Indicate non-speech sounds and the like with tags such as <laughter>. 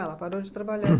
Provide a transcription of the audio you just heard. Ela parou de trabalhar. <coughs>